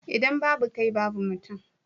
idan babu kai babu mutum